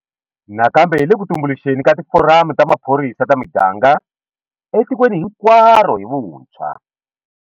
Nakambe hi le ku tumbuluxeni ka tiforamu ta maphorisa ta miganga etikweni hinkwaro hi vuntshwa.